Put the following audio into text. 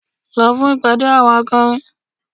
Lọ fún ìpàdé àwọn akọrin!